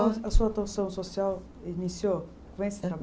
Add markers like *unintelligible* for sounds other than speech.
*unintelligible* A sua *unintelligible* social iniciou com esse *unintelligible*